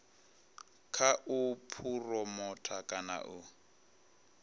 kha u phuromotha kana u